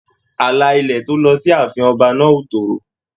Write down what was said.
Àlà ilẹ̀ tó lọ sí ààfin ọba náà o toro.